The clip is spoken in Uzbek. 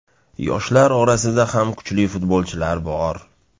Yoshlar orasida ham kuchli futbolchilar bor.